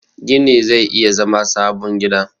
gini zai iya zama sabon gida